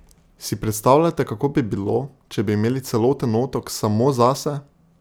Si predstavljate, kako bi bilo, če bi imeli celoten otok samo zase?